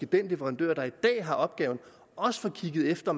den leverandør der i dag har opgaven også får kigget efter